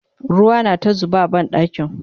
ruwa na ta zuba a banɗakin